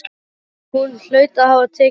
Hún hlaut að hafa tekið hana.